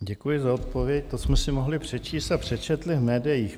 Děkuji za odpověď, to jsme si mohli přečíst a přečetli v médiích.